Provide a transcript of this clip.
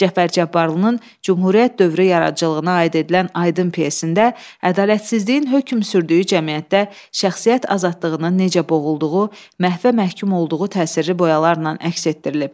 Cəfər Cabbarlının Cümhuriyyət dövrü yaradıcılığına aid edilən Aydın pyesində ədalətsizliyin hökm sürdüyü cəmiyyətdə şəxsiyyət azadlığının necə boğulduğu, məhvə məhkum olduğu təsirli boyalarla əks etdirilir.